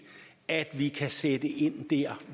at vi kan sætte ind der